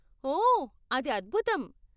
ఓ, అది అద్భుతం!